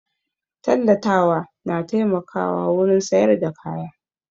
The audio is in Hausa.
Tallatawa na taimakawa wurin sayar da kaya